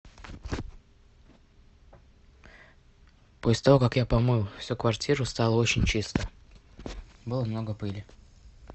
после того как я помыл всю квартиру стало очень чисто было много пыли